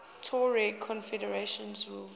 tuareg confederations ruled